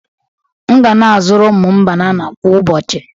M ga na-azụrụ ụmụ m banana kwa ụbọchị.